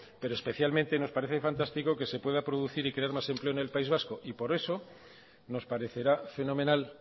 pero especialmente nos parece fantástico que se pueda producir más empleo en el país vasco y por eso nos parecerá fenomenal